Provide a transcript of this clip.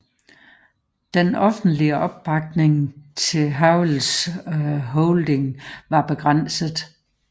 Den offentlige opbakning til Havels holdning var begrænset